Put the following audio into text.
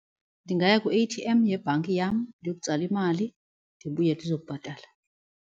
Ndingaya kwi-A_T_M yebhanki yam ndiyotsala imali ndibuye ndizobhatala.